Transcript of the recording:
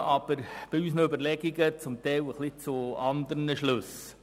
Wir kommen aber bei unseren Überlegungen zum Teil ein wenig zu anderen Schlüssen.